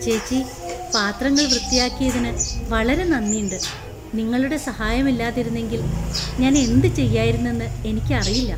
ചേച്ചി, പാത്രങ്ങൾ വൃത്തിയാക്കിയതിനു വളരെ നന്ദിണ്ട്. നിങ്ങളുടെ സഹായമില്ലാതിരുന്നെങ്കിൽ ഞാൻ എന്തു ചെയ്യായിരുന്നുന്ന് എനിക്കറിയില്ല.